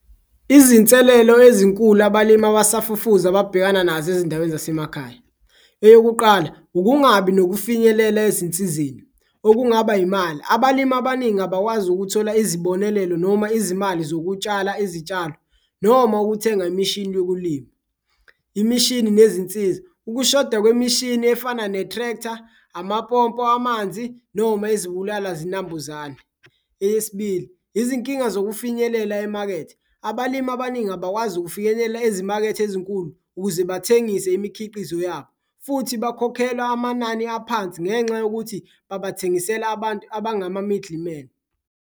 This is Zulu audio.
Izinselelo ezinkulu abalimi abasafufuza ababhekana nazo ezindaweni zasemakhaya. Eyokuqala ukungabi nokufinyelela ezinsizeni okungaba imali, abalimi abaningi abakwazi ukuthola izibonelelo noma izimali zokutshala izitshalo noma ukuthenga imishini yokulima. Imishini nezinsiza, ukushoda kwemishini efana ne-tractor, amapompo amanzi noma izibulala-zinambuzane. Eyesibili, izinkinga zokufinyelela emakethe, abalimi abaningi abakwazi ukufinyelela ezimakethe ezinkulu ukuze bathengise imikhiqizo yabo futhi bakhokhelwa amanani aphansi ngenxa yokuthi babathengisela abantu abangama-middle men.